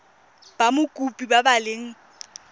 ba mokopi ba ba leng